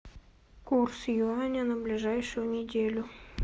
курс юаня на ближайшую неделю